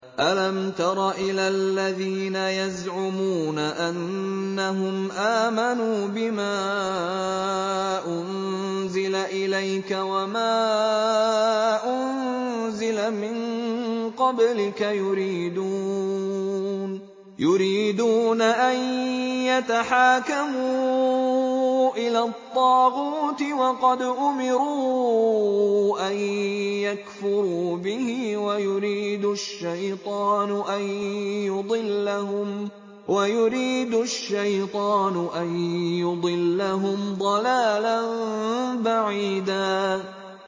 أَلَمْ تَرَ إِلَى الَّذِينَ يَزْعُمُونَ أَنَّهُمْ آمَنُوا بِمَا أُنزِلَ إِلَيْكَ وَمَا أُنزِلَ مِن قَبْلِكَ يُرِيدُونَ أَن يَتَحَاكَمُوا إِلَى الطَّاغُوتِ وَقَدْ أُمِرُوا أَن يَكْفُرُوا بِهِ وَيُرِيدُ الشَّيْطَانُ أَن يُضِلَّهُمْ ضَلَالًا بَعِيدًا